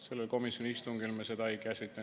Sellel komisjoni istungil me seda ei käsitlenud.